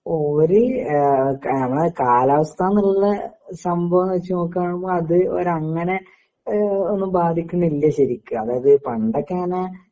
over ഏഹ് ക നമ്മളെ കാലാവസ്ഥാന്നിള്ള സംഭവം വച്ച് നോക്കാണുമ്പോ അത് അങ്ങനെ ഏഹ് ഒന്നും ബാധിക്കുന്നില്ല ശരിക്ക് അതായത് പണ്ടൊക്കെങ്ങനെ